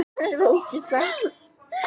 Auðvitað, hvað er að ykkur?